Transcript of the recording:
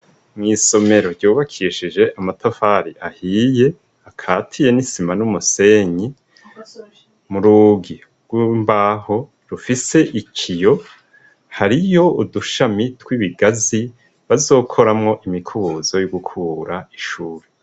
Mwisomero ryubakishije amatafari ahiye akatiye n'isima n'umusenyi, murugi rwimbaho rufise ikiyo, hariyo udushami twibigazi bazokoramwo imikubuzo yogukura ishure.